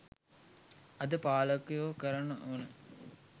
අද පාලකයෝ කරන ඕන